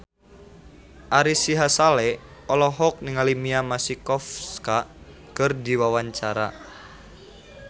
Ari Sihasale olohok ningali Mia Masikowska keur diwawancara